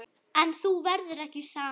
En þú verður ekki samur.